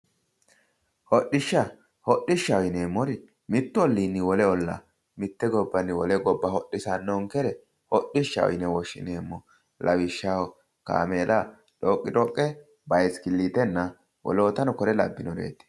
Hodhishsha, hodhishsha yineemmori mittu olliinni wole ollaa mitte gobbanni wole gobba hodhisannonkere hodhishshaho yineemmo. Lawishshaho kaameela, dhoqidhoqqe biskilliitenna wolootano kuri labbinnoreeti.